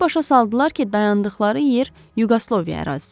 Ona başa saldılar ki, dayandıqları yer Yuqoslaviya ərazisidir.